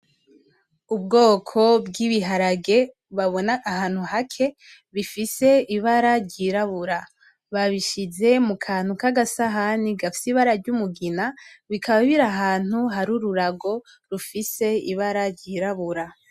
Ubwoko bw'ibiharage babona ahantu hake bifise ibara ry'irabura, babishize mu kantu kagasahani gafise ibara ry'umugina, bikaba biri ahantu hari ururago rufise ibara ry'irabura.